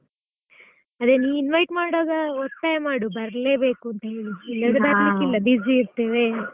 ಅದೇ ನೀನು invite ಮಾಡೋವಾಗ ಒತ್ತಾಯ ಮಾಡು ಬರ್ಲೇ ಬೇಕು ಅಂತ ಹೇಳಿ. ಇಲ್ದಿದ್ರೆ ಬರ್ಲಿಕ್ಕಿಲ್ಲ busy ಇರ್ತೇವೆ .